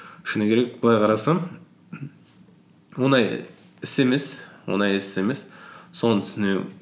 шыны керек былай қарасаң оңай іс емес оңай іс емес соны түсінемін